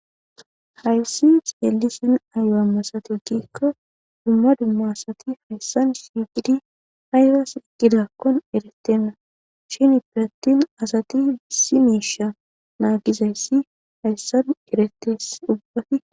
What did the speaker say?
Hayssi seelisin ayo'a masati gikka dumma dumma asati hayssan sigidi hayra siqqidakkon erettenna shini piratin asati bissi meisha naagizayssi hayssanu eretes ubbati.